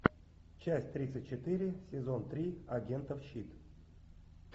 часть тридцать четыре сезон три агентов щит